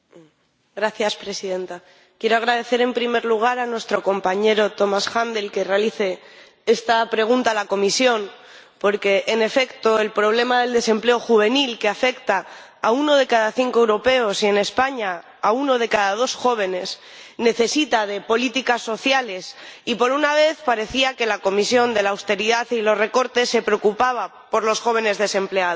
Señora Presidenta, quiero agradecer, en primer lugar, a nuestro compañero Thomas Händel que realice esta pregunta a la Comisión porque, en efecto, el problema del desempleo juvenil, que afecta a uno de cada cinco europeos y en España a uno de cada dos jóvenes, necesita políticas sociales y, por una vez, parecía que la Comisión de la austeridad y los recortes se preocupaba por los jóvenes desempleados.